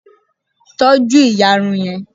tọju iyarun yẹn